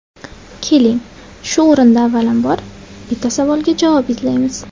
Keling, shu o‘rinda avvalambor, bitta savolga javob izlaymiz.